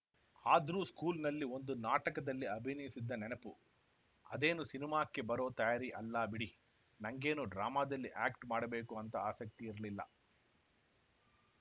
ಆದ್ರೂ ಸ್ಕೂಲ್‌ನಲ್ಲಿ ಒಂದು ನಾಟಕದಲ್ಲಿ ಅಭಿನಯಿಸಿದ್ದ ನೆನಪು ಅದೇನು ಸಿನಿಮಾಕ್ಕೆ ಬರೋ ತಯಾರಿ ಅಲ್ಲ ಬಿಡಿ ನಂಗೇನು ಡ್ರಾಮಾದಲ್ಲಿ ಆ್ಯಕ್ಟ್ ಮಾಡ್ಬೇಕು ಅಂತ ಆಸಕ್ತಿ ಇರ್ಲಿಲ್ಲ